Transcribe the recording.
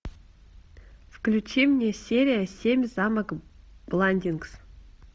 включи мне серия семь замок бландингс